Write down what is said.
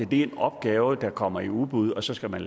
det er en opgave der kommer i udbud og så skal den